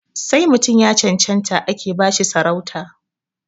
Sai mutum ya cancanta ake ba shi sarauta